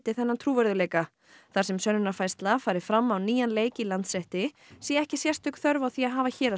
þar sem sönnunarfærsla fari fram á nýjan leik í Landsrétti sé ekki sérstök þörf á því að hafa héraðsdóm fjölskipaðan